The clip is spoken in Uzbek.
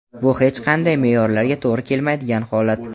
Bu hech qanday me’yorlarga to‘g‘ri kelmaydigan holat!.